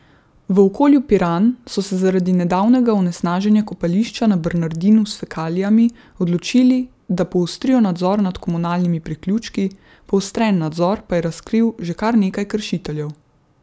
V Okolju Piran so se zaradi nedavnega onesnaženja kopališča na Bernardinu s fekalijami odločili, da poostrijo nadzor nad komunalnimi priključki, poostren nadzor pa je razkril že kar nekaj kršiteljev.